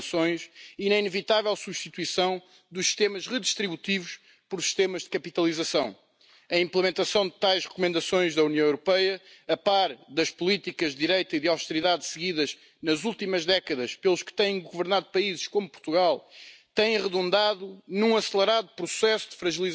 Sohn wird im Durchschnitt mit seinem Jahrgang drei Jahre älter als mein Jahrgang werden wird. Deswegen muss uns die Altersstruktur, dass auf einen Rentner immer weniger Beschäftigte kommen, beschäftigen.